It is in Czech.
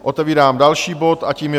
Otevírám další bod a tím je